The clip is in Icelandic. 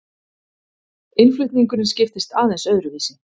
Innflutningurinn skiptist aðeins öðruvísi.